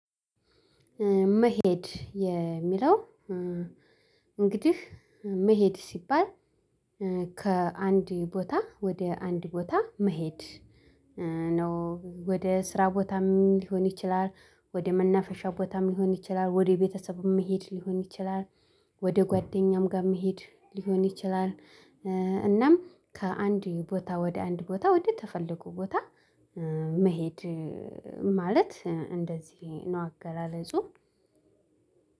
መሄድ የሚለው። እንግዲህ መሄድ ሲባል ከአንድ ቦታ ወደ አንድ ቦታ መሄድ። ነው ወደ ስራ ቦታም ሊሆን ይችላል ወደ መናፈሻ ቦታም ሊሆን ይችላል ወደ ቤተሰብም መሄድ ሊሆን ይችላል ወደ ጓደኛም ጋር መሄድ ሊሆን ይችላል። እናም ከአንድ ቦታ ወደ አንድ ቦታ ወደ ተፈለጉ ቦታ መሄድ ማለት እንደዚህ ነው አገላለጹ።